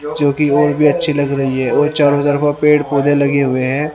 जो कि और भी अच्छी लग रही है और चारों तरफा पेड़ पौधे लगे हुए हैं।